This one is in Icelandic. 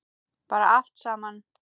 Bara allt saman.